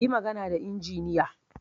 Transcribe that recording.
Yi magana da injiniya